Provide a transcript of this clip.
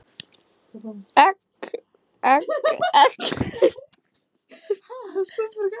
Egg, egg, egg!